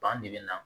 Ban de bɛ na